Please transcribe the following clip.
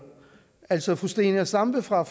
altså fru zenia stampe fra